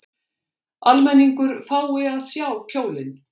Almenningur fái að sjá kjólinn